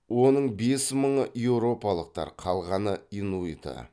оның бес мыңы еуропалықтар қалғаны инуиты